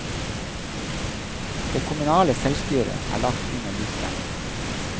Det kommunale selvstyret er lagt under lupen.